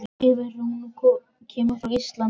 Er hún kemur frá Íslandi síðsumars